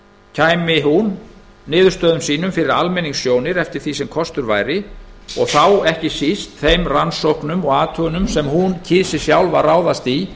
kæmi hún niðurstöðum sínum fyrir almenningssjónir eftir því sem kostur væri og þá ekki síst þeim rannsóknum og athugunum sem hún kysi sjálf að ráðast í